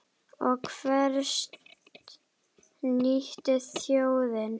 Og hvers nýtur þjóðin?